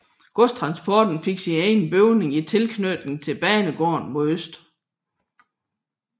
Godstransporten fik sin egen bygning i tilknytning til banegården mod øst